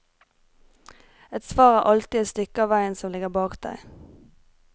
Et svar er alltid det stykket av veien som ligger bak deg.